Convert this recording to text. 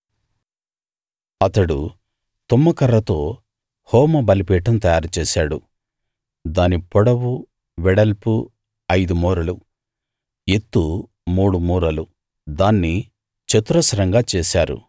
అతడు తుమ్మకర్రతో హోమ బలిపీఠం తయారుచేశాడు దాని పొడవు వెడల్పు ఐదు మూరలు ఎత్తు మూడు మూరలు దాన్ని చతురస్రంగా చేశారు